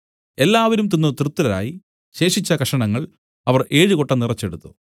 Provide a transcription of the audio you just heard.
എല്ലാവരും തിന്നു തൃപ്തരായി ശേഷിച്ച കഷണങ്ങൾ അവർ ഏഴ് കൊട്ട നിറച്ചെടുത്തു